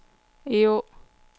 Egå